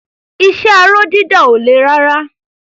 Iṣẹ́ aró dídà ò le rárá.